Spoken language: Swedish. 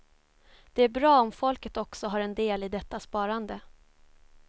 Det är bra om folket också har del i detta sparande.